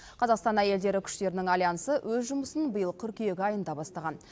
қазақстан әйелдері күштерінің альянсы өз жұмысын биыл қыркүйек айында бастаған